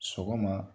Sɔgɔma